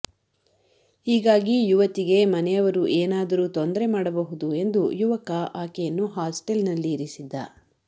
ಹೀಗಾಗಿ ಯುವತಿಗೆ ಮನೆಯವರು ಏನಾದರೂ ತೊಂದರೆ ಮಾಡಬಹುದು ಎಂದು ಯುವಕ ಆಕೆಯನ್ನು ಹಾಸ್ಟೆಲ್ನಲ್ಲಿ ಇರಿಸಿದ್ದ